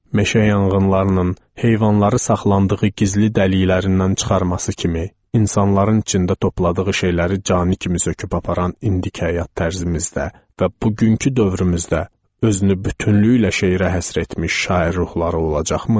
Meşə yanğınlarının heyvanları saxlandığı gizli dəliklərindən çıxarması kimi, insanların içində topladığı şeyləri canı kimi söküb aparan indiki həyat tərzimizdə və bugünkü dövrümüzdə özünü bütünlüyü ilə şeirə həsr etmiş şair ruhları olacaqmı?